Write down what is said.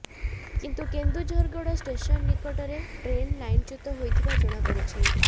କିନ୍ତୁ କେନ୍ଦୁଝରଗଡ଼ ଷ୍ଟେସନ ନିକଟରେ ଟ୍ରେନ୍ ଲାଇନଚ୍ୟୁତ ହୋଇଥିବା ଜଣାପଡିଛି